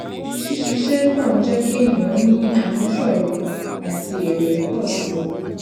ṣíṣiṣẹ pọ ń jé kí ènìyàn ní àmúṣọrò àti èrè pọ sí i